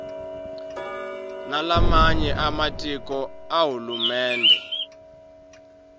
nalamanye ematiko ahulumende